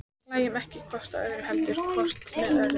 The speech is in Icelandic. Hlæjum ekki hvort að öðru, heldur hvort með öðru.